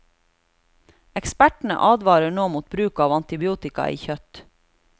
Ekspertene advarer nå mot bruk av antibiotika i kjøtt.